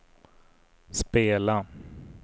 spela